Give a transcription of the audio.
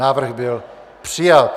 Návrh byl přijat.